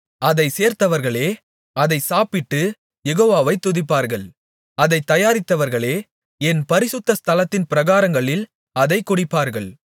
அதைச் சேர்த்தவர்களே அதை சாப்பிட்டு யெகோவாவை துதிப்பார்கள் அதைத் தயாரித்தவர்களே என் பரிசுத்த ஸ்தலத்தின் பிராகாரங்களில் அதைக் குடிப்பார்கள்